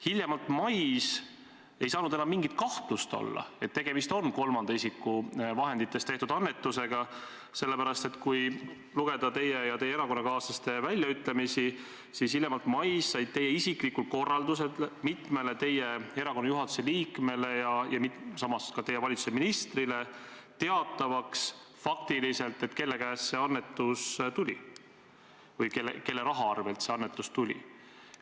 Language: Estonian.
Hiljemalt mais ei saanud enam mingit kahtlust olla, et tegemist on kolmanda isiku vahenditest tehtud annetusega, sest kui lugeda teie ja teie erakonnakaaslaste väljaütlemisi, siis hiljemalt mais sai tehtud teie isiklikul korraldusel mitmele teie erakonna juhatuse liikmele ja samas ka teie valitsuse ministrile teatavaks, faktiliselt, kelle käest või kelle kontolt see annetus tuli.